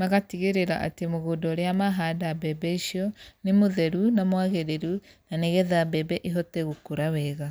magatigĩrĩra atĩ mũgũnda ũrĩa mahanda mbembe icio, nĩ mũtheru na mwagĩrĩru na nĩgetha mbembe ĩhote gũkũra wega.